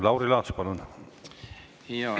Lauri Laats, palun!